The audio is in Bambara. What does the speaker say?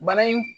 Bana in